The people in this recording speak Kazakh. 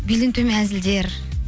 белден төмен әзілдер